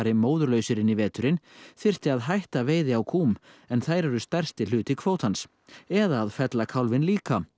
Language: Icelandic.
móðurlausir inn í veturinn þyrfti að hætta veiði á kúm en þær eru stærsti hluti kvótans eða fella kálfinn líka